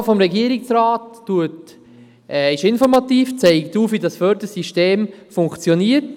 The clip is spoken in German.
Die Antwort des Regierungsrats ist informativ, sie zeigt auf, wie dieses Fördersystem funktioniert.